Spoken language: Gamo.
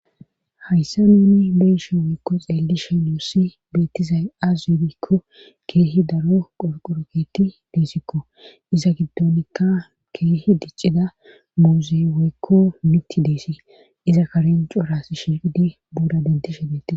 hayssa nuuni beyishe weykko xeelli shenuussi beettizay azze gikko keehi daro qofqoroketi deesikko iza giddonikka keehi diccida muuze weykko miti deesi iza karenco ras shiqidi buuda dentishe deti